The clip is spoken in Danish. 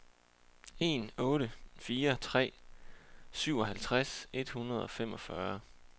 en otte fire tre syvoghalvtreds et hundrede og femogfyrre